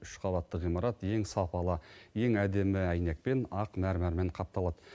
үш қабатты ғимарат ең сапалы ең әдемі әйнекпен ақ мәрмәрмен қапталады